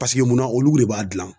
Paseke munna olu de b'a gilan